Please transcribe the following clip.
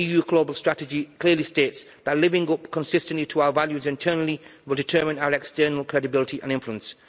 The EU global strategy clearly states that living up consistently to our values internally will determine our external credibility and influence.